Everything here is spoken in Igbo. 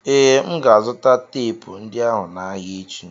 Ee, M ga-azụta teepu ndị ahụ n'ahịa echi.